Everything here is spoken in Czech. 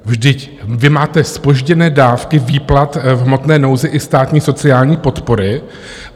Vždyť vy máte zpožděné dávky výplat v hmotné nouzi i státní sociální podpory.